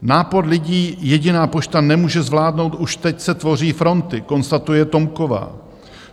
Nápor lidí jediná pošta nemůže zvládnout, už teď se tvoří fronty," konstatuje Tomková.